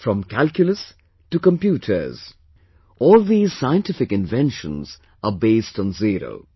From Calculus to Computers all these scientific inventions are based on Zero